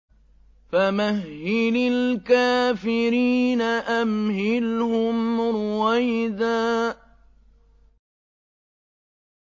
فَمَهِّلِ الْكَافِرِينَ أَمْهِلْهُمْ رُوَيْدًا